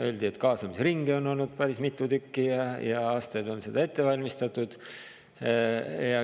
Öeldi, et kaasamisringe on olnud päris mitu tükki ja aastaid on seda ette valmistatud.